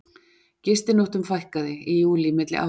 Gistinóttum fækkaði í júlí milli ára